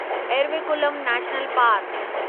Eravikulam national park